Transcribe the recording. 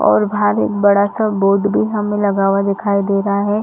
और बाहर एक बड़ा- सा बोर्ड भी हमें लगा हुआ दिखाई दे रहा है।